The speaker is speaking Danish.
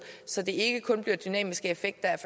så det ikke kun bliver dynamiske effekter af